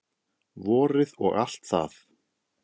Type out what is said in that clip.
Vorið og allt það.